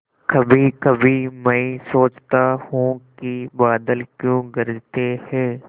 कभीकभी मैं सोचता हूँ कि बादल क्यों गरजते हैं